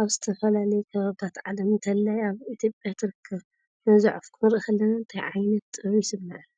ኣብ ዝተፈላለየ ከባቢታት ዓለም፡ እንተላይ ኣብ ኢትዮጵያ ትርከብ። ነዛ ዑፍ ክንርኢ ከለና እንታይ ዓይነት ጥበብ ይስምዓና?